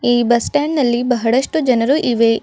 ಈ bus stand ನಲ್ಲಿ ಬಹಳಷ್ಟು ಜನರು ಇವೆ.